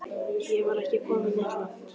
Ég var ekki kominn neitt langt.